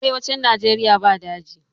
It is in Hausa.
Arewacin nageria ba daji